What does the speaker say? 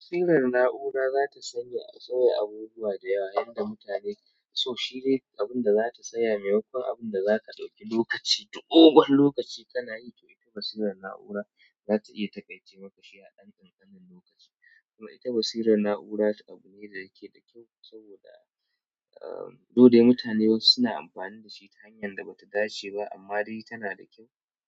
Basirar na'ura za ta sauya abubuwa da yawa yadda mutane so shi dai abinda za ta sauya maimakon abin da zaka ɗauke lokaci dogon lokaci ka na yi basirar na'ura zata takaice maka a ɗan ƙanƙanin lokaci kuma ita basirar na'ura abu ne da yake da kyau saboda, eh, though de mutane wasu suna amfani da shi ta hanyar da ba ta dace ba amma dai tana da kyau.